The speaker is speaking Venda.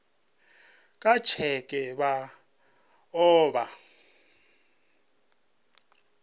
nga tsheke vha o vha